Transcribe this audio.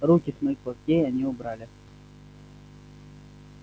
руки с моих локтей они убрали